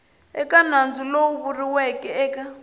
eka nandzu lowu vuriweke eka